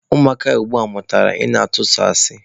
Ụmụaka ugbua mụtara ị na-ịtụ sọ asị.